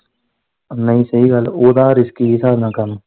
ਨਹੀਂ ਇਹ ਗੱਲ ਓਦਾ risky ਦੇ ਸਾਬ ਨਾਲ ਕੰਮ।